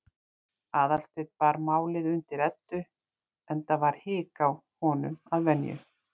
Aðalsteinn bar málið undir Eddu, enda var hik á honum að venju.